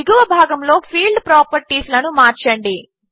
దిగువ విభాగములో field properties లను మార్చండి